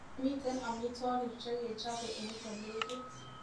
Miten amitwogik chekechobe eng kolekit